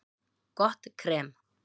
Gott krem